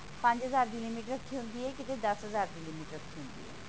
ਪੰਜ ਹਜ਼ਾਰ ਦੀ limit ਰੱਖੀ ਹੁੰਦੀ ਹੈ ਕੀਤੇ ਦੱਸ ਹਜ਼ਾਰ ਦੀ limit ਰੱਖੀ ਹੁੰਦੀ ਹੈ